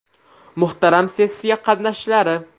Muhtaram sessiya qatnashchilari!